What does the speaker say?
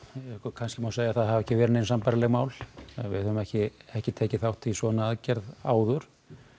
kannski má segja að það hafi ekki verið nein sambærileg mál við höfum ekki ekki tekið þátt í svona aðgerð áður